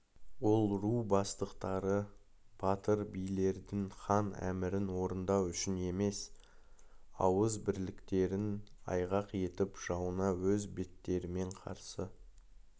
ол ру бастықтары батыр билердің хан әмірін орындау үшін емес ауыз бірліктерін айғақ етіп жауына өз беттерімен қарсы